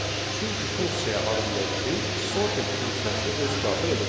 Çünki funksiyaya arqumenti sorted funksiyası özü daxil edəcək.